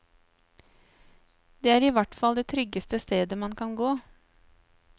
Det er i hvert fall det tryggeste stedet man kan gå.